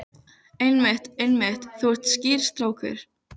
Einmitt, einmitt, þú ert skýr strákur.